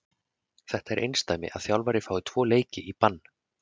Þetta er einsdæmi að þjálfari fái tvo leiki í bann.